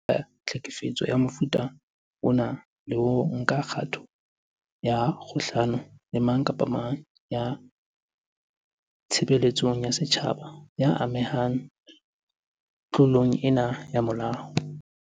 Mmuso jwale o tiisa letsoho boitekong ba ona ba ho thibela tlhekefetso ya mofuta ona le ho nka kgato kgahlano le mang kapa mang ya tshebeletsong ya setjhaba ya amehang tlo long ena ya molao.